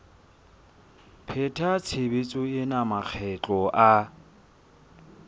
pheta tshebetso ena makgetlo a